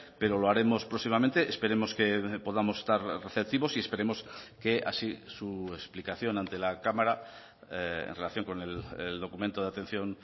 pero lo haremos próximamente esperemos que podamos estar receptivos y esperemos que así su explicación ante la cámara en relación con el documento de atención